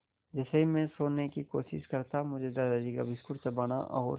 जैसे ही मैं सोने की कोशिश करता मुझे दादाजी का बिस्कुट चबाना और